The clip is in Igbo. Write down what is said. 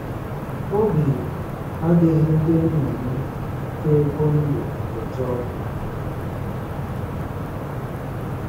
Obi adịghị ndị nna m tae kwondo ụtọ.